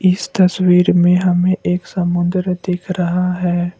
इस तस्वीर में हमें एक समुद्र दिख रहा है।